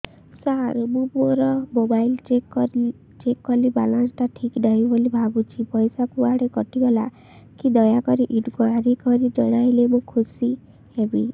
ସାର ମୁଁ ମୋର mobile check କଲି ବାଲାନ୍ସ ଟା ଠିକ ନାହିଁ ବୋଲି ଭାବୁଛି ପଇସା କୁଆଡେ କଟି ଗଲା କି ଦୟାକରି ଇନକ୍ୱାରି କରି ଜଣାଇଲେ ମୁଁ ଖୁସି ହେବି